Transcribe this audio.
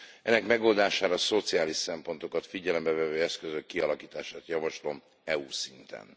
Ennek megoldására szociális szempontokat figyelembe vevő eszközök kialakítását javaslom EU s szinten.